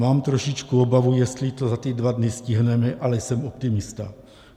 Mám trošičku obavu, jestli to za ty dva dny stihneme, ale jsem optimista.